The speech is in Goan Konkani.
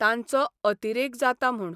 तांचो अतिरेक जाता म्हूण